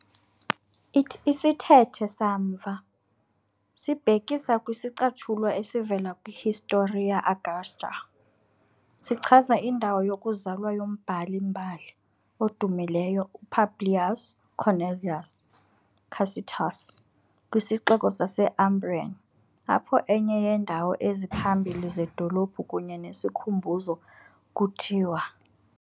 Isithethe samva, sibhekisa kwisicatshulwa esivela kwi- Historia Augusta, sichaza indawo yokuzalwa yombhali-mbali odumileyo u-Publius Cornelius Tacitus kwisixeko sase-Umbrian, apho enye yeendawo eziphambili zedolophu kunye nesikhumbuzo kuthiwa.